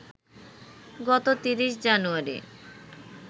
গত ৩০ জানুয়ারি